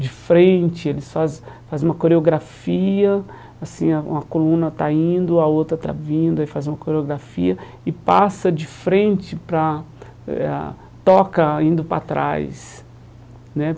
de frente, eles faz fazem uma coreografia, assim, ah uma coluna está indo, a outra está vindo, aí faz uma coreografia e passa de frente para a... eh ah toca indo para trás, né?